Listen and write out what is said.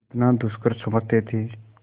जितना दुष्कर समझते थे